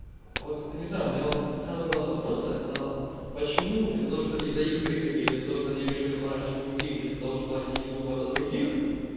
вот не знаю у меня вот самый главный вопрос это почему из-за того что из-за их прихоти или за то что они решили пораньше уйти или из-за того что они не думают о других